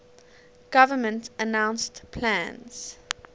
government announced plans